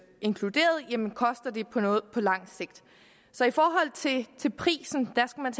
inkluderet jamen koster det noget på lang sigt så i forhold til til prisen skal man